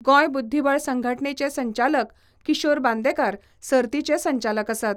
गोंय बुद्धीबळ संघटणेचे संचालक किशोर बांदेकार सर्तीचे संचालक आसात.